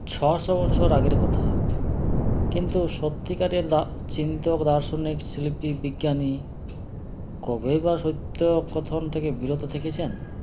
ছশো বছর আগের কথা কিন্তু সত্যিকারের দা চিন্তক দার্শনিক শিল্পী বিজ্ঞানী কবেই বা সত্য কথন থেকে বিরত থেকেছেন